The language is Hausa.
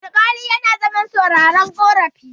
alƙali yana zaman sauraron karafi